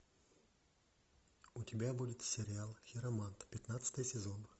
у тебя будет сериал хиромант пятнадцатый сезон